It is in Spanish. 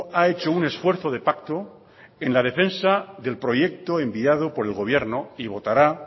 ha hecho un esfuerzo de pacto en la defensa del proyecto enviado por el gobierno y votará